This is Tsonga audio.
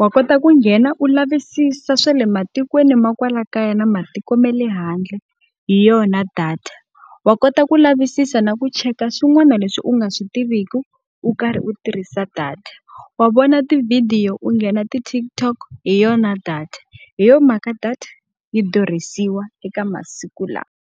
wa kota ku nghena u lavisisa swa le matikweni ma kwala kaya na matiko ma le handle hi yona data. Wa kota ku lavisisa na ku cheka swin'wana leswi u nga swi tiviki, u karhi u tirhisa data, wa vona tivhidiyo u nghena ti-TikTok hi yona data. Hi yona mhaka data yi durhisiwa eka masiku lawa.